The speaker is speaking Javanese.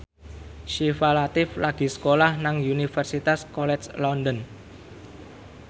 Syifa Latief lagi sekolah nang Universitas College London